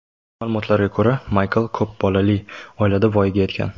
Ma’lumotlarga ko‘ra, Maykl ko‘p bolali oilada voyaga yetgan.